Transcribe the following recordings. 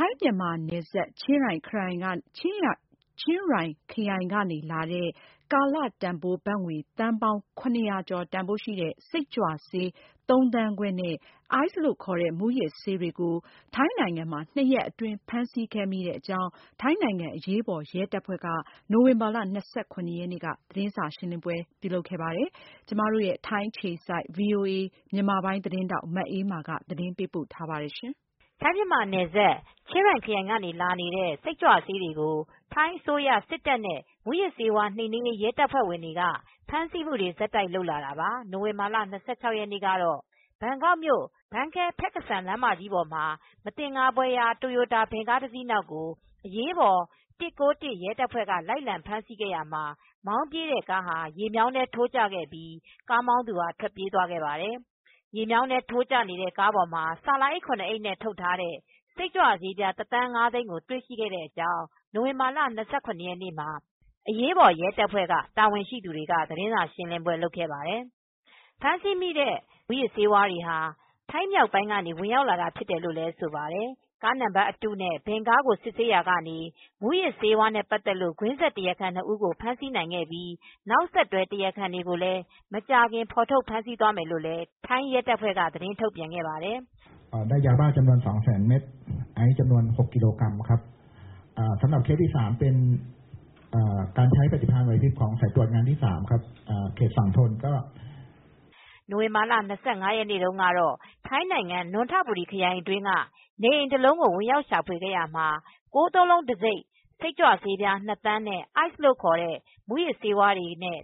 ိုင်း-မြန်မာနယ်စပ် ချင်းရိုင်ခရိုင်ကနေလာတဲ့ ကာလတန်ဘိုးဘတ်ငွေ သန်ပေါင်းရ၀၀ကျော် တန်ဖိုးရှိတဲ့ စိတ်ကြွဆေး ၃သန်းခွဲနဲ့ အိုက်စ်လို့ခေါ်တဲ့ မူးယစ်ဆေးတွေကို နွံထဘူရီခရိုင်နဲ့ ဘန်ကောက်မြို့တွေမှာ ၂ရက်အတွင်း ဖမ်းဆီးမိခဲ့ကြောင်း ထိုင်းနိုင်ငံအရေးပေါ်ရဲတပ်ဖွဲ့က နိုဝင်ဘာလ၂၇ရက်နေ့မှာ သတင်းစာရှင်းလင်းခဲ့ပါတယ်။ VOA သတင်းထောက် မအေးအေးမာက သတင်းပေးပို့ထားပါတယ်။ ထိုင်း-မြန်မာနယ်စပ် ချင်းရိုင်ခရိုင်ကနေ ဝင်လာနေတဲ့ စိတ်ကြွဆေးတွေကို ထိုင်းအစိုးရစစ်တပ်နဲ့ မူးယစ်ဆေးဝါးနှိမ်နင်းရေး ရဲတပ်ဖွဲတွေက ဖမ်းဆီးမူတွေကို ဆက်တိုက်လုပ်ခဲ့တာပါ။ နိုဝင်လာလ ၂၆ ရက်နေ့ကတော့ ဘန်ကောက်မြို့ ဘန်ခဲ ဖက်ကစန် လမ်း ကြီးပေါ်မှာ မသင်္ကာဖွယ်ရာ တိုရိုတာ ဗင်ကားတစီးနောက်ကို အရေးပေါ်၁၉၁ ရဲတပ်ဖွဲ့ က လိုက်လံ ဖမ်းဆီးခဲ့ရာမှာ မောင်းပြေးတဲ့ကားဟာ ရေမြောင်းထဲ ထိုးကျသွားခဲ့ပြီး ကားမောင်းသူထွက်ပြေးသွားခဲ့ပါတယ်။ ရေမြောင်းထဲထိုးကျနေတဲ့ ကားပေါ်မှာ ဆာလာအိပ် အိပ်နဲ့ ထုတ်ထားတဲ့ စိတ်ကြွဆေး ပြားတစ်သန်းငါးသိန်းတွေ့ရှိခဲ့တဲ့အကြောင်း နိုဝင်ဘာလ၂၇ရက်နေ့မှာ အရေးပေါ် ရဲတပ်ဖွဲ့က တာဝန်ရှိသူတွေက သတင်းစာရှင်းလင်းပွဲလုပ်ခဲ့ပါတယ်။ ဖမ်းဆီးမိတဲ့ စိတ်ကြွမူးယစ်ဆေးတွေဟာ ထိုင်းမြောက်ပိုင်းက ဝင်ရောက်လာတာဖြစ်တယ်လို ့လည်း ဆိုပါတယ်။ ကားနံပါတ်အတုနဲ့ ဗင်ကားကိုစစ်ဆေးရာက မူးယစ်ဆေး ကွင်းဆက် တရားခံ နှစ်ဦးကို ဖမ်းဆီးနိုင်ခဲ့ပြီး နောက်ဆက်တွဲ တရားခံတွေကိုလည်း မကြာခင်ဖေါ်ထုတ်ဖမ်းဆီးသွားမယ်လို့ ထိုင်းရဲတပ်ဖွဲ့က သတင်းထုတ်ပြန်သွားပါတယ်။ နိုဝင်ဘာလ ၂၅ရက်နေ့တုန်းကတော့ ထိုင်းနိုင်ငံ၊ နွံထဘူရီခရိုင်အတွင်းက နေအိမ်တလုံးကိုဝင်ရောက်ရှာဖွေရာမှာ ၉၉၉ တံဆိပ်စိတ်ကြွဆေး ၂သန်းနဲ့ အိုက်စ်လို့ခေါ်တဲ့ မူယစ်ဆေးဝါးတွေနဲ့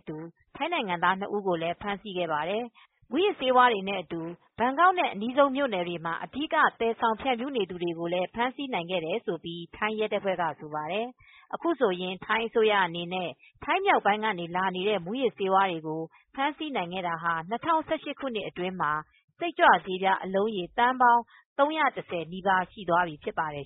ထိုင်းနိုင်ငံသား ၂ဦးကို ဖမ်းဆီးခဲ့ပါတယ်။ အခု မူးယစ်ဆေးဝါးတွေနဲ့အတူ ဘန်ကောက်နဲ့ အနီးဆုံးမြို့နယ်တွေမှာ အဓိက သယ်ဆောင်သူ ဖြန့်ဖြူးနေသူတွေကို ဖမ်းဆီးနိုင်ခဲ့တယ်လို့လည်း ထိုင်းရဲတပ်ဖွဲ့က ဆိုပါတယ် ။အခုဆိုရင် ထိုင်းအစိုးရအနေနဲ့ ထိုင်းမြောက်ပိုင်းကနေ လာနေတဲ့ မူယစ်ဆေးဝါးတွေကို ဖမ်းဆီးနိုင်ခဲ့တာဟာ ၂၀၁၈ခုနှစ်အတွင်းမှာ စိတ်ကြွဆေးအလုံးရေ သန်းပေါင်း ၃၁၀ နီးပါး ရှိသွားပြီဖြစ်ပါတယ်